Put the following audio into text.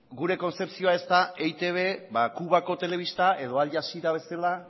gure konzepzioa ez da eitb ba cubako telebista edo al jazeera bezala